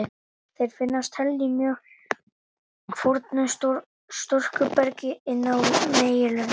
Þeir finnast helst í mjög fornu storkubergi inn á meginlöndum.